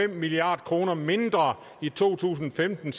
milliard kroner mindre i to tusind og femten